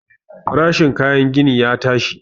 Farashin kayan gini ya tashi.